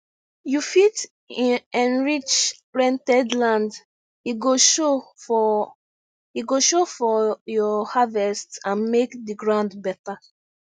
you fit enrich rented land e go show for go show for your harvest and make the ground better